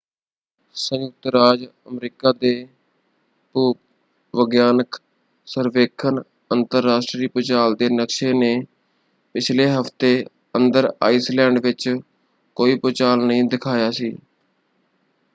ਸੰਯੁਕਤ ਰਾਜ ਅਮਰੀਕਾ ਦੇ ਭੂ-ਵਿਗਿਆਨਕ ਸਰਵੇਖਣ ਅੰਤਰਰਾਸ਼ਟਰੀ ਭੂਚਾਲ ਦੇ ਨਕਸ਼ੇ ਨੇ ਪਿਛਲੇ ਹਫ਼ਤੇ ਅੰਦਰ ਆਈਸਲੈਂਡ ਵਿੱਚ ਕੋਈ ਭੂਚਾਲ ਨਹੀਂ ਦਿਖਾਇਆ ਸੀ।